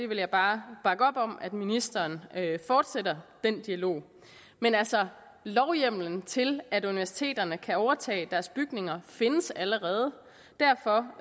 vil bare bakke op om at ministeren fortsætter den dialog men altså lovhjemmelen til at universiteterne kan overtage deres bygninger findes allerede derfor